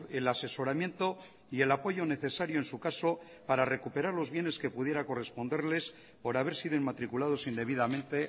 el asesoramiento y el apoyo necesario en su caso para recuperar los bienes que pudiera corresponderles por haber sido inmatriculados indebidamente